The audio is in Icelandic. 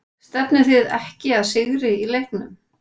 Stefnið þið ekki að sigri í leiknum?